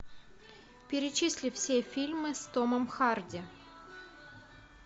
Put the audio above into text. перечисли все фильмы с томом харди